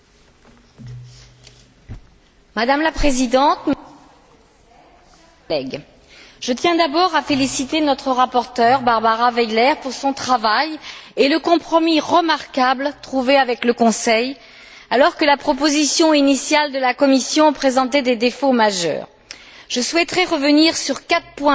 Madame la Présidente, mes chers collègues, je tiens d'abord à féliciter notre rapporteure Barbara Weiler pour son travail et le compromis remarquable trouvé avec le Conseil alors que la proposition initiale de la Commission présentait des défauts majeurs. Je souhaiterais revenir sur quatre points importants obtenus dans cette directive.